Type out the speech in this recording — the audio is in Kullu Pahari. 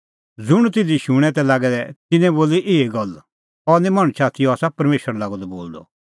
ज़ुंण तिधी शूणैं तै लागै दै तिन्नैं लोगै बोली एही गल्ल अह निं मणछ आथी अह आसा परमेशर लागअ द बोलदअ